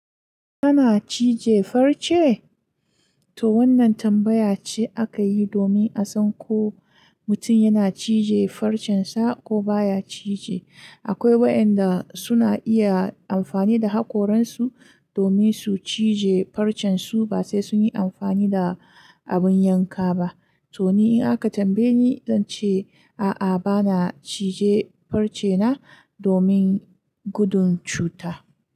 Kana cije farce? To wannan tambaya ce aka yi domin a san ko mutum yana cije farcen sa ko baya cije. Akwai waɗanda suna iya amfani da hakoran su domin su cije farcen su ba sai sun yi amfani da abin yanka ba. To ni in haka tambaye ni, zan ce a'a bana cije farce na domin gudun cuta.